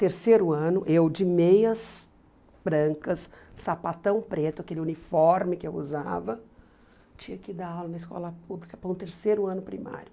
Terceiro ano, eu de meias brancas, sapatão preto, aquele uniforme que eu usava, tinha que dar aula na escola pública para o terceiro ano primário.